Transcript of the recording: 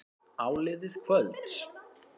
Áliðið kvölds.